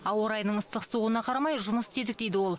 ауа райының ыстық суығына қарамай жұмыс істедік дейді ол